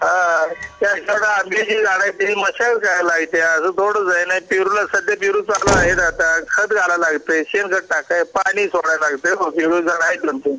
त्या आंब्याची झाड त्या करावा लागत आजून थोडं पेरूला सध्या पेरू आहे सध्या खत घालावं लागतंय शेण खत पाणी सोडल्या लागत